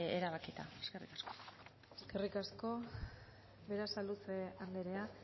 erabakita eskerrik asko eskerrik asko berasaluze andrea